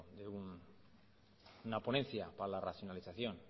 de una ponencia para la racionalización